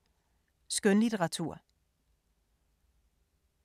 Skønlitteratur